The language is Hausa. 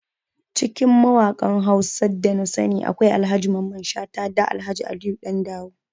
Cikin mawakan Hausa da nasani akwai Ahaji Mamman Shata da Alhaji Aliyu Dandawo